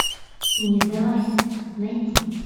не сдавайся найти